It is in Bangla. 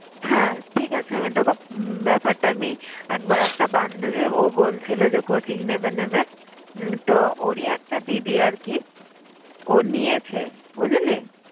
হ্যাঁ ঠিক আছে আমি তোকে উম ব্যাপারটা আমি একবার একটা বান্ধবী ও বলছিল coaching নেবে নেবে তো ওরই একটা দিদি আর কি ও নিয়েছে। বুঝলি?